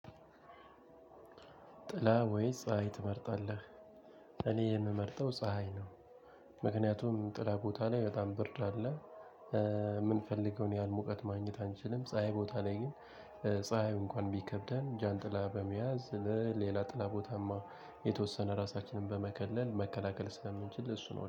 ጥላ ወይስ ፀሀይ ትመርጣለህ? እኔ የምመርጠው ፀሀይ ነው። ምክንያቱም ጥላ ቦታ ላይ በጣም ብርድ አለ የምንፈልገውን ያህል ሙቀት ማግኘት አንችልም። ፀሀይ ቦታ ላይ ግን ፀሀይ እንኳን ቢከብደን ጃንጥላ በመያዝ ለሌላ ጥላ ቦታማ የተወሰነ ራሳችንን በመከለል መከላከል ስለምንችል ለሱ ነው